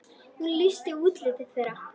Hún lýsti útliti þeirra.